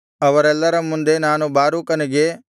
ಅವರೆಲ್ಲರ ಮುಂದೆ ನಾನು ಬಾರೂಕನಿಗೆ